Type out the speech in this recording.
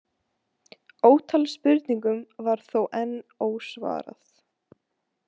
Ótal spurningum var þó enn ósvarað.